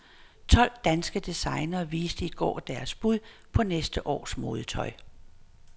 Tolv danske designere viste i går deres bud på næste års modetøj.